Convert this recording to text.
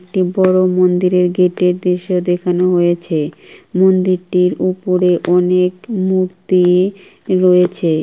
একটি বড় মন্দিরের গেট -এ এ দৃশ্য দেখানো হয়েছে মন্দিরটির উপরে অনেক মূর্ই-ই রয়েছে।